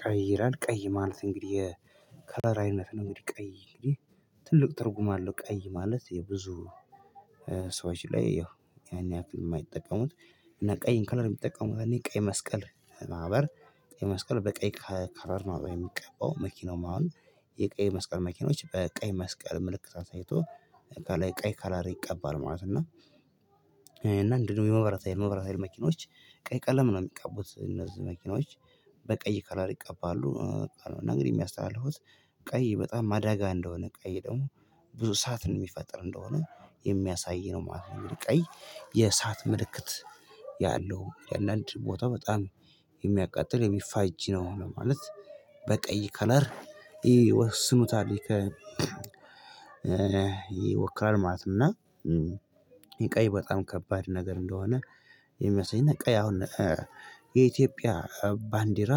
ቀይ ይላል ቀይ ማለት እንግዲህ የከለር አይነት ነው እንግዲህ ቀይ ትልቅ ትርጉም አለው። ቀይ ማለት የብዙ ሰዎች ላይ ያን ያክል የማይጠቀሙት። እና ቀይን ከለር የሚጠቀሙት ያኔ ቀይ መስቀል ማህበር ቀይ መስቀል በቀይ ከቨር ነው የሚቀባው መኪናው ማለት የቀይ መስቀል መኪኖች በቀይ መስቀል ምልክት አሳይቶ ቀይ ከለሪ ይቀባል ማለት ነው። እና እንደውም የመብራታ መብራት ሀይል መኪኖች ቀይ ቀለም ነው የሚቃቡት እነዚህ መኪኖች በቀይ ቀለር ይቃባሉ። ነገር የሚያስተላልፉት ቀይ በጣም አደጋ እንደሆነ ቀይ ደግሞ ብዙ እሳዓትን የሚፈጥር እንደሆነ የሚያሳይ ነው ማለት ነው። ቀይ የእሳት ምልክት ያለው ያአንዳንድ ቦታ በጣም የሚያቃጥል የሚፋጅ ነው። ማለት በቀይ ከለር ይወስኑታል ይከ ይወክላል ማለት እና። የቀይ በጣም ከባድ ነገር እንደሆነ የሚመስለኝ። ቀይ አሁን የኢትዮጵያ ባንዲራ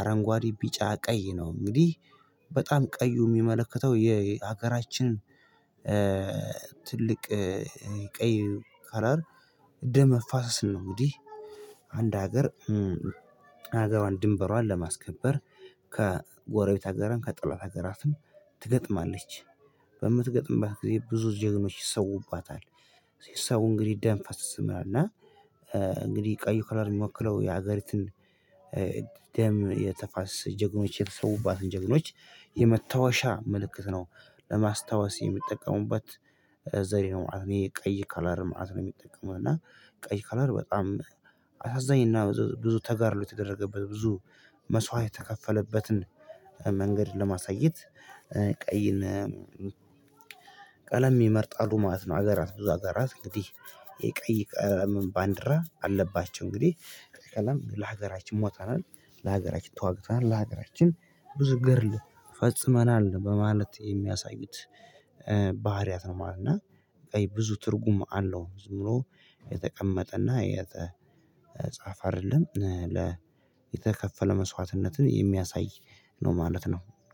አረንጓዴ ቢጫ ቀይ ነው እንግዲህ በጣም ቀዩ የሚመለከተው የሀገራችን ትልቅ ቀይ ከለር ደም መፋሰስ ነው። እንግዲህ አንድ ሀገር ሀገር ድንበሯን ለማስከበር ከጎረቤት አገርም ከጠላት ሀገራትም ትገጥማለች በምትገጥምባት ጊዜ ብዙ ጀግኖች ይሰውባታል ሲሰው እንግዲህ ደም ፋሰስ እና። እንግዲህ ቀዩ ከለር የሚወክለው የሀገሪቱን ደም የተፋሰስ ጀግኖች የተሰዉባትን ጀግኖች የመታወሻ ምልክት ነው። ለማስታወስ የሚጠቀሙበት ዘሪ ነው። ቀይ ከለር መአት ነው የሚጠቀመው እና ቀይ ከለር በጣም አሳዛኝ እና ብዙ ተጋድሎ የተደረገበት ብዙ መስዋዕት የተከፈለበትን መንገድ ለማሳየት ቀይን ቀለም ይመርጣሉ ማለት ነው። ሀገራት ብዙ ሀገራት እንግዲህ የቀይ ቀለምን ባንዲራ አለባቸው እንግዲህ ቀይ ቀለም ለሀገራችን ሞተናል ለሀገራችን ተዋግተናል ለሀገራችን ብዙ ገድል ፈጽመናል በማለት የሚያሳዩት ባህሪያት ነው ማለት ነው። ቀይ ብዙ ትርጉም አለው ዝም ብሎ የተቀመጠ እና የተጻፈ አይደለም የተከፈለ መስዋዕትነትን የሚያሳይ ነው ማለት ነው።